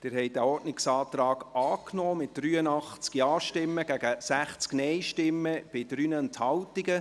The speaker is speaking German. Sie haben diesen Ordnungsantrag angenommen, mit 83 Ja- gegen 60 Nein-Stimmen bei 3 Enthaltungen.